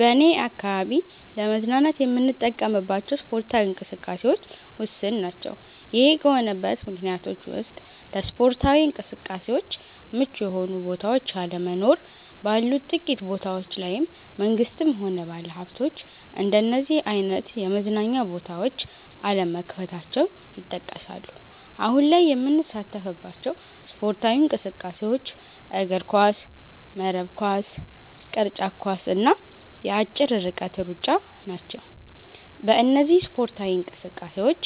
በኔ አካባቢ ለመዝናናት የምንጠቀምባቸው ስፓርታዊ እንቅስቃሴዎች ውስን ናቸ። ይሄ ከሆነበት ምክንያቶች ውስጥ ለስፓርታዊ እንቅስቃሴዎች ምቹ የሆኑ ቦታዎች አለመኖር፣ ባሉት ጥቂት ቦታዎች ላይም መንግስትም ሆነ ባለሀብቶች እንደነዚህ አይነት የመዝናኛ ቦታዎች አለመክፈታቸው ይጠቀሳሉ። አሁን ላይ የምንሳተፍባቸው ስፖርታዊ እንቅስቃሴዎች እግርኳስ፣ መረብ ኳስ፣ ቅርጫት ኳስ እና የአጭር ርቀት ሩጫ ናቸው። በእነዚህ ስፓርታዊ እንቅስቃሴዎች